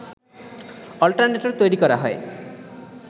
alternator তৈরি করা হয়